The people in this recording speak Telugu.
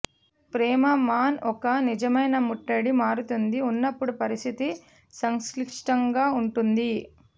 ప్రేమ మాన్ ఒక నిజమైన ముట్టడి మారుతుంది ఉన్నప్పుడు పరిస్థితి సంక్లిష్టంగా ఉంటుంది